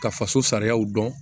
Ka faso sariyaw dɔn